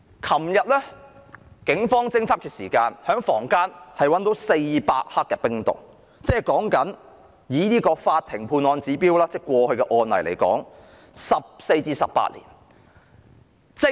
昨天警方在房間檢獲400克冰毒，以法庭過去的判案指標，有關人士將會判刑14至18年。